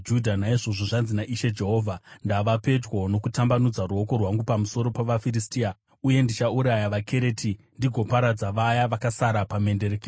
naizvozvo zvanzi naIshe Jehovha: Ndava pedyo nokutambanudza ruoko rwangu pamusoro pavaFiristia, uye ndichauraya vaKereti ndigoparadza vaya vakasara pamhenderekedzo.